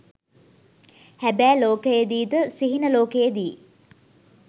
හැබෑ ලෝකයේ දී ද සිහින ලෝකයේ දී